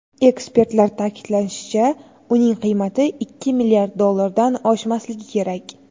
Ekspertlar ta’kidlashicha, uning qiymati ikki milliard dollardan oshmasligi kerak.